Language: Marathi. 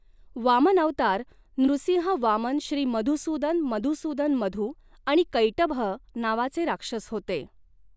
वामन अवतार नृसिंह वामन श्री मधुसूदन मधुसूदन मधू आणि कैटभ नावाचे राक्षस होते.